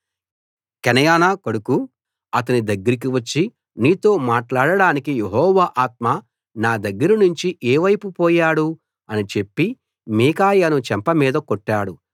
Chenaanah కొడుకు Zedekiah అతని దగ్గరికి వచ్చి నీతో మాట్లాడడానికి యెహోవా ఆత్మ నా దగ్గర నుంచి ఏ వైపు పోయాడు అని చెప్పి మీకాయాను చెంప మీద కొట్టాడు